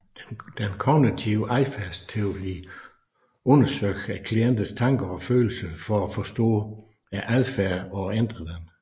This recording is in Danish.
Den kognitive adfærdsterapi undersøger klientens tanker og følelser for at forstå adfærden og ændre den